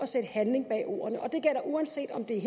sætte handling bag ordene og det gælder uanset om det